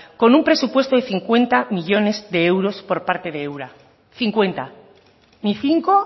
con un presupuesto de cincuenta millónes de euros por parte de ura cincuenta ni cinco